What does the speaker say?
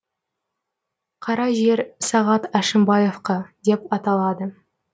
қара жер сағат әшімбаевқа деп аталады